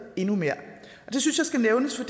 endnu mere det synes jeg skal nævnes